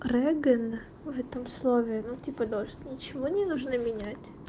крыгина в этом слове ну типа дождь ничего не нужно менять